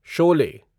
Sholay